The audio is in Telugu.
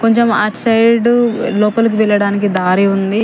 కొంచెం అట్ సైడు లోపలికి వెళ్లడానికి దారి ఉంది.